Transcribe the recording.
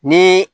Ni